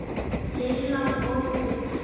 Lilla fór út.